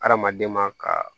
Hadamaden ma ka